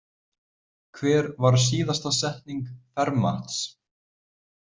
Hver var síðasta setning Fermats?